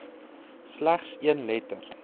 slegs een letter